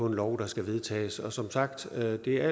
en lov der skal vedtages som sagt al ære